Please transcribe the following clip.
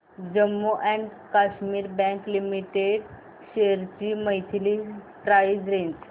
Jammu and Kashmir bank limited shares ची monthly price range